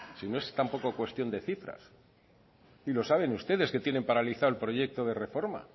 si no es tampoco cuestión de cifras y lo saben ustedes que tienen paralizado el proyecto de reforma